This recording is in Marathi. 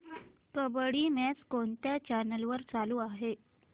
कबड्डी मॅच कोणत्या चॅनल वर चालू आहे